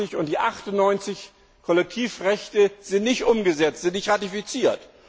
87 und Nr. 98, Kollektivrechte sind nicht umgesetzt, sind nicht ratifiziert.